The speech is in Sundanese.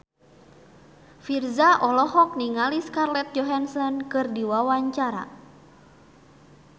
Virzha olohok ningali Scarlett Johansson keur diwawancara